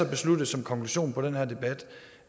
besluttet som konklusion på den her debat